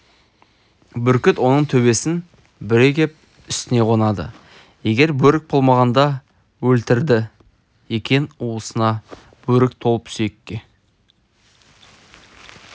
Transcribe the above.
бүркіт оның төбесін бүре кеп үстіне қонады егер бөрік болмағанда өлтіріді екен уысына бөрік толып сүйекке